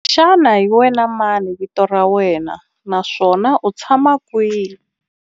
Xana hi wena mani vito ra wena naswona u tshama kwihi?